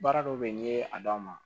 Baara dɔw bɛ yen n'i ye a d'a ma